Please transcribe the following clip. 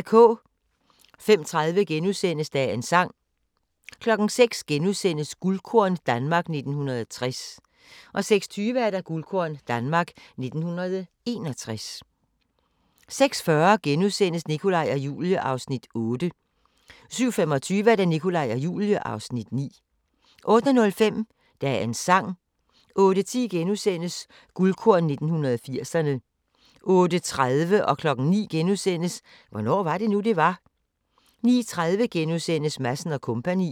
05:30: Dagens sang * 06:00: Guldkorn - Danmark 1960 * 06:20: Guldkorn - Danmark 1961 06:40: Nikolaj og Julie (Afs. 8)* 07:25: Nikolaj og Julie (Afs. 9) 08:05: Dagens sang 08:10: Guldkorn 1980'erne: 1986 * 08:30: Hvornår var det nu, det var? * 09:00: Hvornår var det nu, det var? * 09:30: Madsen & Co. (21:32)*